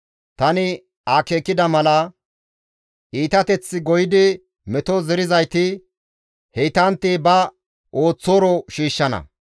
Tani akeekida mala, iitateth goyidi meto zerizayti heytantti ba ooththooro shiishshana.